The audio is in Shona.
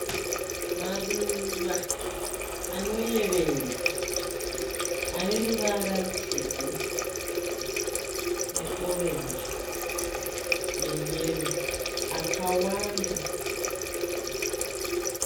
Maruva anoyevedza ane ruvara rutsvuku neorenji neyero akawanda.